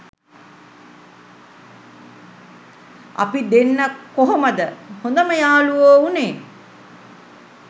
අපි දෙන්න කොහොමද හොදම යාළුවො උනේ